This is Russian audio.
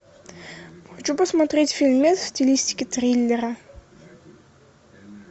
хочу посмотреть фильмец в стилистике триллера